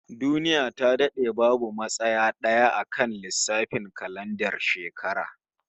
Duniya ta dade babu matsaya d'aya akan lissafin kalandar shekara